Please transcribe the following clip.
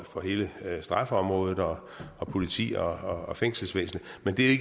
for hele straffeområdet og politi og og fængselsvæsenet men det